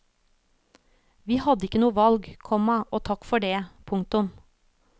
Vi hadde ikke noe valg, komma og takk for det. punktum